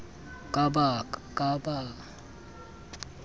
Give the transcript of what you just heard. ke ba ba le kgaoho